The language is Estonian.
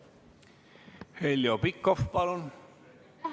Heljo Pikhof, palun!